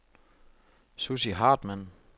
Sussi Hartmann